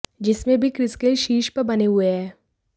जिसमें भी Chris Gayle शीर्ष पर बने हुए हैं